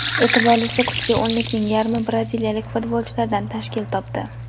E’tiborlisi, kuchli o‘nlikning yarmi braziliyalik futbolchilardan tashkil topdi.